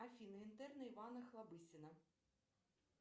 афина интерны ивана охлобыстина